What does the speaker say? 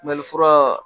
Mɛlifura